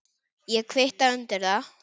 Ég kvitta undir það.